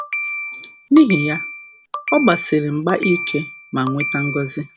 N’ihi ya, ọ gbasiri um mgba ike ma nweta ngọzi.